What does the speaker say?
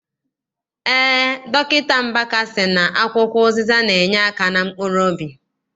Eé, Dọkịta Mbaka sị na akwụkwọ ụzịza na- enyeaka na mkpuruobi.